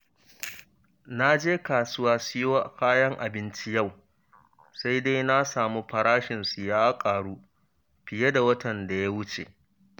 Na je kasuwa siyo kayan abinci yau, sai dai na samu farashinsu ya ƙaru fiye da na watan da ya wuce.